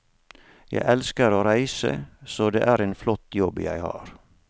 Jeg elsker å reise, så det er en flott jobb jeg har.